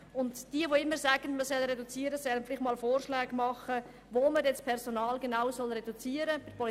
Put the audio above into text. Wer immer wieder sagt, man solle das Personal reduzieren, soll einmal vorschlagen, wo dies genau geschehen soll.